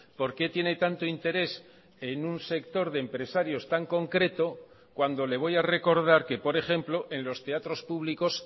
por qué tiene tanto interés en un sector de empresarios tan concreto cuando le voy a recordar que por ejemplo en los teatros públicos